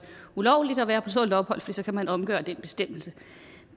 ulovligt at være på tålt ophold for så kan man omgøre den bestemmelse